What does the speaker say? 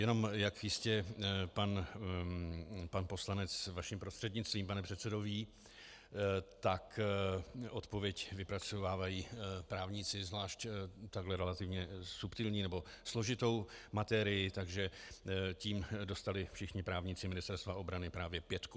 Jenom jak jistě pan poslanec vašim prostřednictvím, pane předsedo, ví, tak odpověď vypracovávají právníci, zvlášť takto relativně subtilní nebo složitou materii, takže tím dostali všichni právníci Ministerstva obrany právě pětku.